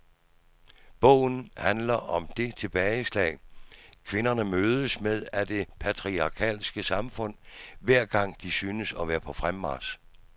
Bogen handler om det tilbageslag, kvinderne mødes med af det patriarkalske samfund hver gang de synes at være på fremmarch.